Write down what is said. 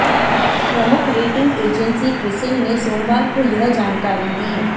प्रमुख rating agency CRISIL ने सोमवार को यह जानकार ी दी